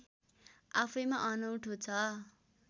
आफैँमा अनौठो छ